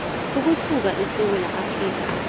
ukusuka esewula afrika